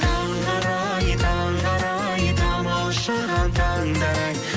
таңғы арай таңғы арай тамылжыған таңдар ай